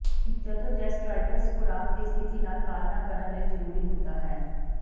ਜਦੋਂ ਜੈਸਟਰਾਈਟਸ ਖੁਰਾਕ ਦੀ ਸਖਤੀ ਨਾਲ ਪਾਲਣਾ ਕਰਨ ਲਈ ਜ਼ਰੂਰੀ ਹੁੰਦਾ ਹੈ